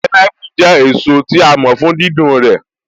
Pineapple jẹ́ èso tí a mọ̀ fún dídùn rẹ̀